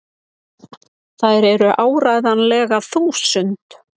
Þær eru áreiðanlega þúsund!!